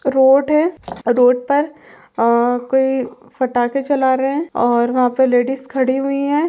Road है। Road पर आ कोई फटाके जला रहे हैं और वहाॅं पे लेडिज खड़ी हुई हैं।